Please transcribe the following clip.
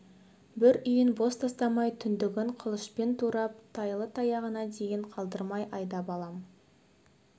бір үйін бос тастамай түндігін қылышпен турап тайлы-таяғына дейін қалдырмай айдап алам